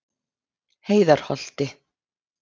Heiðarholti